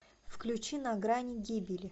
включи на грани гибели